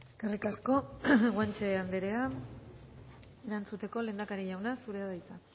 eskerrik asko guanche andrea erantzuteko lehendakari jauna zurea da hitza